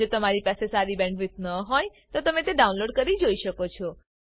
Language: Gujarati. જો તમારી પાસે સારી બેન્ડવિડ્થ ન હોય તો તમે વિડીયો ડાઉનલોડ કરીને જોઈ શકો છો